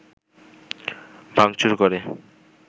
ভাঙচুর করে